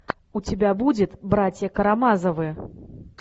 у тебя будет братья карамазовы